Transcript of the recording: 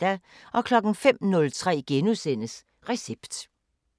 05:03: Recept *